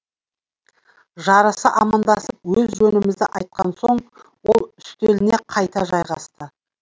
жарыса амандасып өз жөнімізді айтқан соң ол үстеліне қайта жайғасты